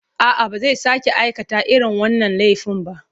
A'a, ba zai sake aikata irin wannan laifin ba.